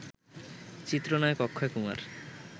চিত্রনায়ক অক্ষয় কুমার